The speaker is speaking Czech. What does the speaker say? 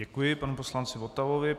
Děkuji panu poslanci Votavovi.